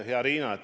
Hea Riina!